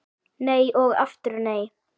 Nei og aftur nei